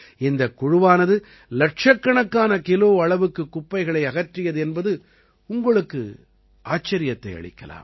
இந்தக் குழுவானது இலட்சக்கணக்கான கிலோ அளவுக்கு குப்பைகளை அகற்றியது என்பது உங்களுக்கு ஆச்சரியத்தை அளிக்கலாம்